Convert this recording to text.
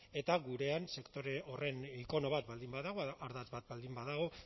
eta gurean sektore horren ikono bat baldin badago ardatz bat baldin badago